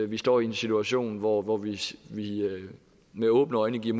vi står i en situation hvor hvor vi med åbne øjne giver